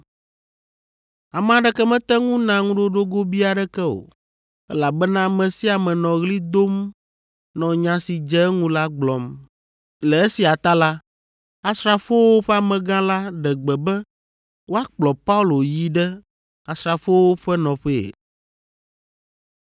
Ame aɖeke mete ŋu na ŋuɖoɖo gobii aɖeke o, elabena ame sia ame nɔ ɣli dom nɔ nya si dze eŋu la gblɔm. Le esia ta la, asrafowo ƒe amegã la ɖe gbe be woakplɔ Paulo yi ɖe asrafowo ƒe nɔƒee.